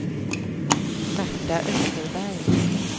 Märta Österberg